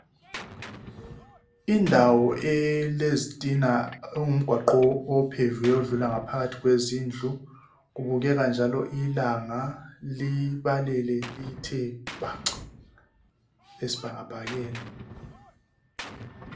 Indawo elezitina okungu mgwaqo opheviweyo odlula ngaphakathi kwe zindlu okubukeka njalo ilanga libalele lithe bhaqa esibhakabhakeni.